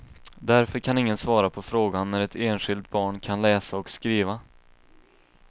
Därför kan ingen svara på frågan när ett enskilt barn kan läsa och skriva.